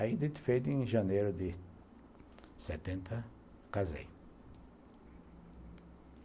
Ainda feito em janeiro de setenta, casei.